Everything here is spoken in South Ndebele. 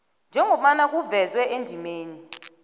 njengobana kuvezwe endimeni